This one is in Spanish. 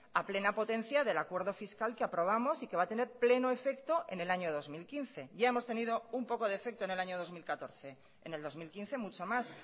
a plena potencia del acuerdo fiscal que aprobamos y que va a tener pleno efecto en el año dos mil quince ya hemos tenido un poco de efecto en el año dos mil catorce en el dos mil quince mucho más